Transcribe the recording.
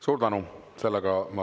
Suur tänu!